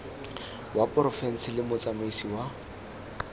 wa porofense le motsamaisi wa